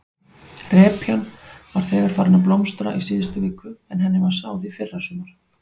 Repjan var þegar farin að blómstra í síðustu viku en henni var sáð í fyrrasumar?